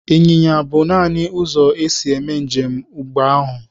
Ịnyịnya bụ nanị ụzọ e si eme njem mgbe ahụ.